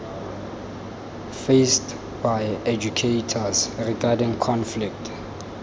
faced by educators regarding conflict